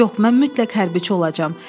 Yox, mən mütləq hərbçi olacam.